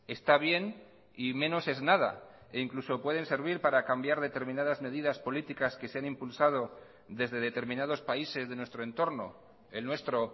está bien y menos es nada e incluso pueden servir para cambiar determinadas medidas políticas que se han impulsado desde determinados países de nuestro entorno el nuestro